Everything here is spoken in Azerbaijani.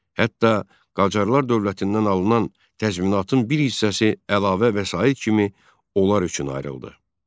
Hətta Qacarlar dövlətindən alınan təzminatın bir hissəsi əlavə vəsait kimi onlar üçün ayrıldı.